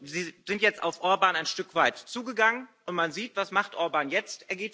Sie sind jetzt auf Orbán ein Stück weit zugegangen, und man sieht, was macht Orbán jetzt?